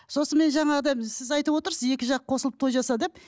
сосын мен жаңағыда біз сіз айтып отырсыз екі жақ қосылып той жаса деп